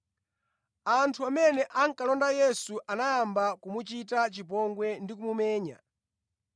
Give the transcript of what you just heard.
Anthu amene ankalonda Yesu anayamba kumuchita chipongwe ndi kumumenya.